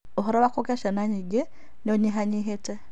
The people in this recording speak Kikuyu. ũhoro wa kũgĩa ciana nyingĩ ni ũnyihanyĩhĩte